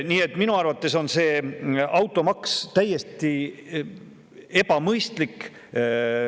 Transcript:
Nii et minu arvates on automaks täiesti ebamõistlik.